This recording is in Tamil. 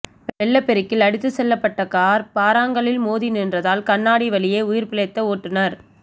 வெள்ளப்பெருக்கில் அடித்து செல்லப்பட்ட கார் பாறாங்கல்லில் மோதி நின்றதால் கண்ணாடி வழியே உயிர்பிழைத்த ஓட்டுநர்